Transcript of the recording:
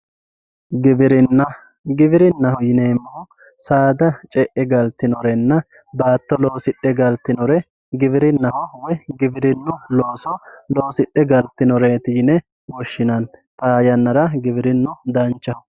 giwirinna giwirinnaho yineemmohu saada ce''e galtinorenna baatto loosidhe galtinore giwirinnaho yinanni woyi giwirinnu looso loosidhe galtinoreeti yine woshshinanni xaa yannara giwirinnu danchaho.